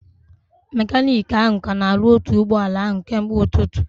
Mekaniiki ahụ ka na-arụ otu ụgbọala ahụ kemgbe ụtụtụ